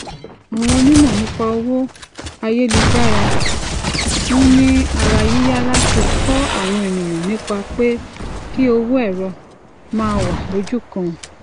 àwọn onímọ nípa owó ayélujára ń ni arayiya lati kọ awọn eniyan nipa pe ki owo ẹrọ ma wa lojukan